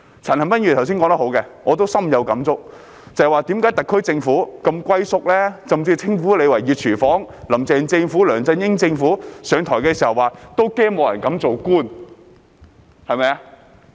陳恒鑌議員剛才說得很好，我亦深有感觸，便是為何特區政府如此"龜縮"，甚至被稱為"熱廚房"，"林鄭"政府和梁振英政府上台時，也曾說擔心沒有人敢做官。